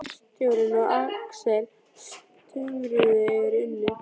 Bílstjórinn og Axel stumruðu yfir Unni.